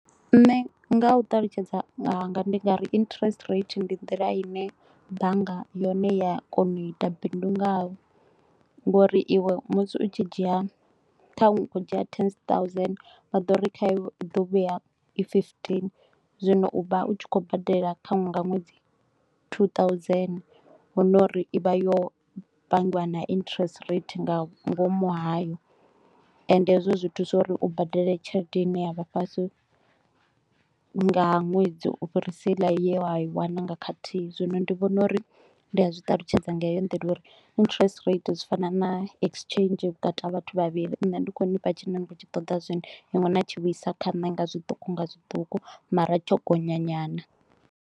Nṋe nga u ṱalutshedza nga hanga ndi nga ri interest rate ndi nḓila ine bannga yone ya kona u ita bindu ngayo ngauri iwe musi u tshi dzhia, thanwe u tshi kho u dzhia zwigidi zwa fumbili vha ḓo ri kha iwe i ḓo vhuya i futhanu. Zwino u vha u tshi khou badela thanwe nga ṅwedzi tshiigidi tsha fumbili hu no uri i vha yo pangiwa na interest rate nga ngomu hayo ende hezwo zwi thusa uri u badele tshelede ine ya vha fhasi nga ṅwedzi u fhirisa heila ye wa i wana nga khathihi. Zwino ndi vhona uri ndi a zwi ṱalutshedza nga heyo ndila uri interest rate zwi fana na exchange vhukati vhathu vhavhili ende ndi kho u nifha tshine ni kho u tshi toda zwino, iṅwi na tshi vhuisa kha nṋe nga zwiṱuku nga zwiṱuku mara tsho gonya nyana